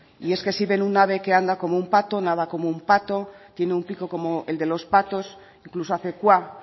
y es que si ven un ave que anda como un pato nada como un pato tiene un pico como el de los patos incluso hace cuá